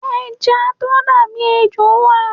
Ẹja tó dà bí ejò wà.